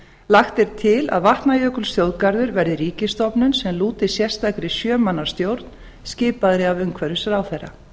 lagt er til að vatnajökulsþjóðgarður verði ríkisstofnun sem lúti sérstakri sjö manna stjórn skipaðri af umhverfisráðherra